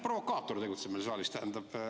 Provokaator tegutseb meil saalis.